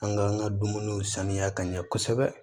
An ka an ka dumuniw sanuya ka ɲɛ kosɛbɛ